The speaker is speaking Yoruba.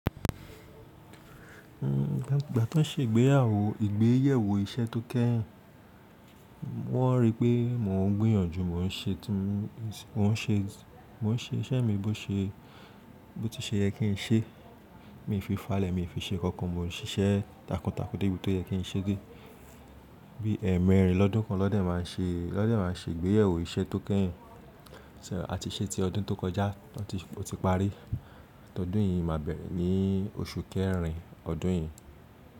Igbà tí wọ́n ń ṣe ìgbéyàwó, ìgbéyẹ̀wò iṣẹ́ tó kẹ́yìn, wọ́n ríi pé mò ń gbìyànjú, mò ń ṣe tí mò ń ṣe, mò ń ṣe, mò ń ṣe iṣẹ́ mi bó ṣe, bó tí ṣe yẹ kí n ṣe. Mi n fi falẹ̀, mi nfi ṣe nkankan, mò ń ṣiṣẹ́ takuntakun debí tó yẹ kí n ṣe de. Bí ẹẹ̀mẹrin lọ́dún kan won de má n ṣe, won de má n ṣe ìgbéyẹ̀wò iṣẹ́ tó kẹ́yìn. À ti se ti ọdún tó kọjá tí ó ti parí. Ọdún yìí máa bẹ̀rẹ̀ ní oṣù kẹrin ọdún yìí.